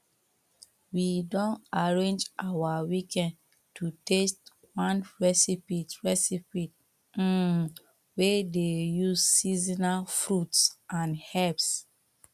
we don arrange our weekend to test one recipe recipe um wey dey use seasonal fruits and herbs